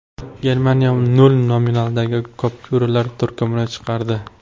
Germaniya nol nominaldagi kupyuralar turkumini chiqardi.